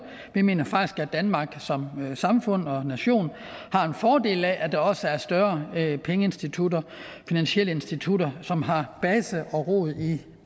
vi mener faktisk at danmark som samfund og nation har en fordel af at der også er større pengeinstitutter finansielle institutter som har base og rod i